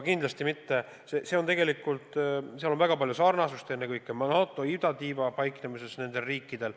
Nendel riikidel on väga palju sarnasust ennekõike selles, et nad paiknevad NATO idatiival.